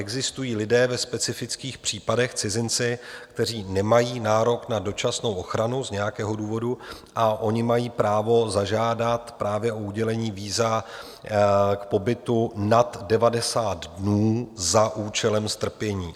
Existují lidé ve specifických případech, cizinci, kteří nemají nárok na dočasnou ochranu z nějakého důvodu, a oni mají právo zažádat právě o udělení víza k pobytu nad 90 dnů za účelem strpění.